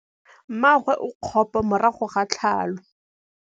Mmagwe o kgapô morago ga tlhalô.